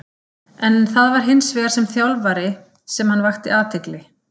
En það var hins vegar sem þjálfari sem hann vakti athygli.